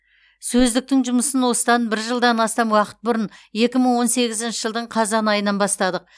сөздіктің жұмысын осыдан бір жылдан астам уақыт бұрын екі мың он сегізінші жылдың қазан айынан бастадық